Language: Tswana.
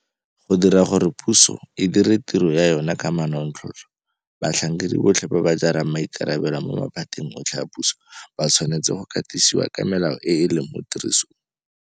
Go dira gore puso e dire tiro ya yona ka manontlhotlho batlhankedi botlhe ba ba jarang maikarabelo mo maphateng otlhe a puso ba tshwanetse go katisiwa ka melao e e leng mo tirisong.